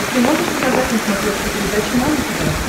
ты можешь показать на смотрешке передачу нано тв